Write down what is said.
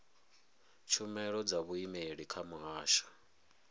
tshumelo dza vhuimeli kha muhasho